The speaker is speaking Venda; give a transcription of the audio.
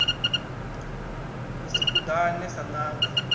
ni si kuḓane sa ṋanga